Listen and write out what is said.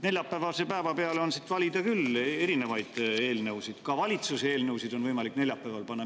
Neljapäevase päeva peale oleks siit valida küll erinevaid eelnõusid, ka valitsuse eelnõusid on võimalik neljapäevale panna.